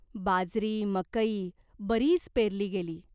बाजरी, मकई बरीच पेरली गेली.